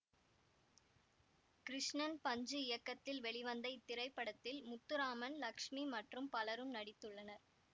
கிருஷ்ணன் பஞ்சு இயக்கத்தில் வெளிவந்த இத்திரைப்படத்தில் முத்துராமன் லக்ஸ்மி மற்றும் பலரும் நடித்துள்ளனர்